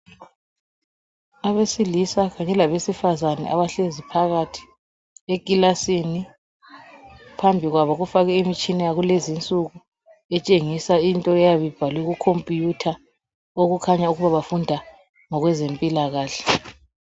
Abesilisa kanye labesifazana abahlezi phakathi ekilasini. Phambi kwabo kufakwe imitshina yalulezi insuku etshengisa into eyabe ibhalwe kukhompiyutha okukhanya ukuthi bafunda ngokwezempilakahle.